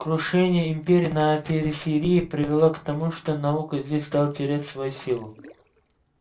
крушение империи на периферии привело к тому что наука здесь стала терять свою силу